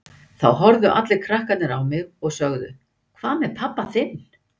Þá horfðu allir krakkarnir á mig og sögðu Hvað með pabba þinn?